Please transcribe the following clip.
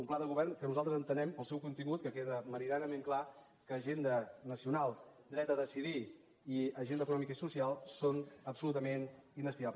un pla de govern que nosaltres entenem pel seu contingut que queda me·ridianament clar que agenda nacional dret a decidir i agenda econòmica i social són absolutament indestria·bles